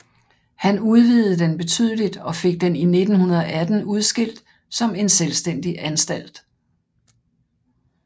Han udvidede den betydeligt og fik den i 1918 udskilt som en selvstændig anstalt